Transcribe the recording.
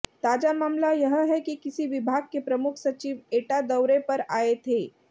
ताजा मामला यह है कि किसी विभाग के प्रमुख सचिव एटा दौरे पर आए थे